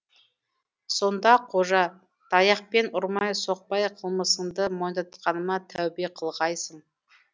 сонда қожа таяқпен ұрмай соқпай қылмысыңды мойындатқаныма тәубе қылғайсың